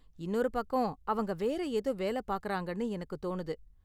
இன்னொரு பக்கம் அவங்க வேற ஏதோ வேலை பார்க்கறாங்கனு எனக்கு தோணுது.